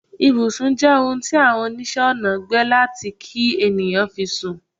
Ìbùsùn je ohun ti Awon onise Onà gbe lati ki eniyan fi sun